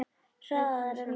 Hraðar en ljósið.